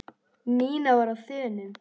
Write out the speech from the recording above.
Nína var á þönum.